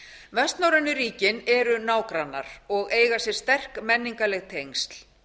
vestnorrænu ríkin eru nágrannar og eiga sér sterk menningarleg tengsl